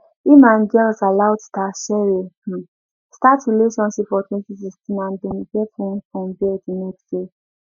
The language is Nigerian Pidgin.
im and girls aloud star cheryl um start relationship for 2016 and dem get one son bear di next year